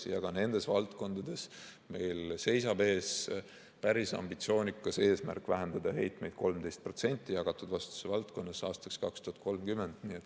Ja ka nendes valdkondades meil seisab ees päris ambitsioonikas eesmärk vähendada heitmeid 13% jagatud vastutuse valdkonnas aastaks 2030.